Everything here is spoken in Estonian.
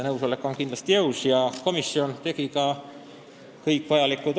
Komisjon tegi ka vajalikud otsused ja need kõik olid konsensuslikud.